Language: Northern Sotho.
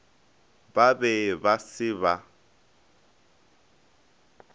ba be ba se ba